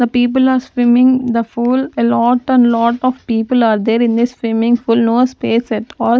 the people are swimming the fool a lot and lot of people are there in the swimming pool no space at all.